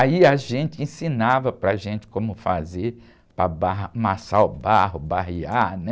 Aí a gente ensinava para a gente como fazer para barra, amassar o barro, barrear, né?